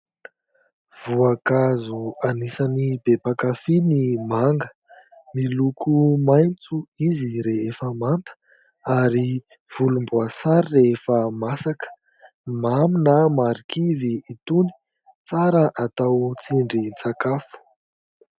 Voankazo anisan'ny be mpankafia ny manga, miloko maitso izy rehefa manta ary volomboasary rehefa masaka, mamy na marikivy itony, tsara atao tsindrin-tsakafo